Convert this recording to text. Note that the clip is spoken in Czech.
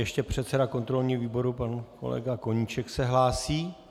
Ještě předseda kontrolního výboru pan kolega Koníček se hlásí.